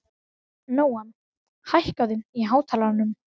Nóam, hækkaðu í hátalaranum.